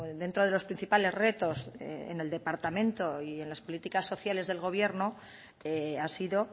dentro de los principales retos en el departamento y en las políticas sociales del gobierno ha sido